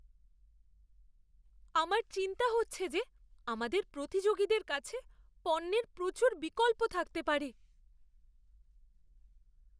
আমার চিন্তা হচ্ছে যে আমাদের প্রতিযোগীদের কাছে পণ্যের প্রচুর বিকল্প থাকতে পারে।